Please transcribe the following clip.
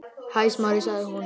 Hæ, Smári- sagði hún.